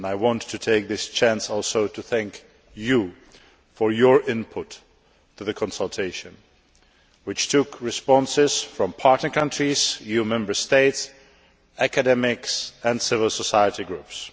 I want to take this opportunity to thank Members for their input into the consultation, which took responses from partner countries, EU Member States, academics and civil society groups.